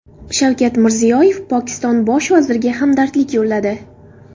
Shavkat Mirziyoyev Pokiston bosh vaziriga hamdardlik yo‘lladi.